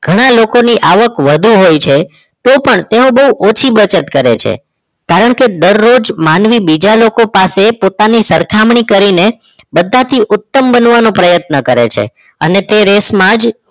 ઘણા લોકોની આવક વધુ હોય છે તો પણ તેઓ બહુ ઓછી બચત કરે છે કારણ કે દરરોજ બીજા લોકો પાસે પોતાની સરખામણી કરી ને બધાથી ઉત્તમ બનવાનો પ્રયત્ન કરે છે અને તે રેસમાં જ